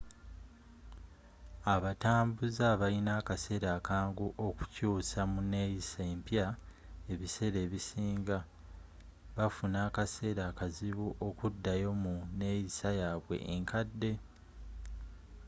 abatambuze abalina akaseera akangu okukyuusa mu neeyisa empya ebiseera ebisinga bafuna akaseera akazibu okuddayo mu neeyisa yabwe enkadde